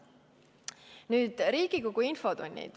Nüüd Riigikogu infotundidest.